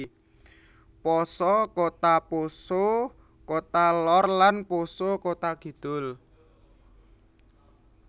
Poso Kota Poso Kota Lor lan Poso Kota Kidul